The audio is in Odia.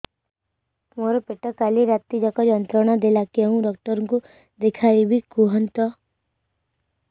ମୋର ପେଟ କାଲି ରାତି ଯାକ ଯନ୍ତ୍ରଣା ଦେଲା କେଉଁ ଡକ୍ଟର ଙ୍କୁ ଦେଖାଇବି କୁହନ୍ତ